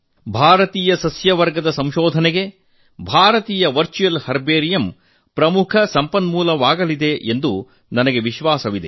ಭಾರತೀಯ ಸಸ್ಯವರ್ಗದ ಸಂಶೋಧನೆಗೆ ಭಾರತೀಯ ವರ್ಚುವಲ್ ಹರ್ಬೇರಿಯಂ ಪ್ರಮುಖ ಸಂಪನ್ಮೂಲವಾಗಲಿದೆ ಎಂಬ ವಿಶ್ವಾಸ ನನಗಿದೆ